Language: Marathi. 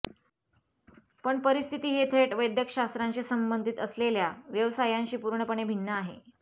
पण परिस्थिती ही थेट वैद्यकशास्त्राशी संबंधित असलेल्या व्यवसायांशी पूर्णपणे भिन्न आहे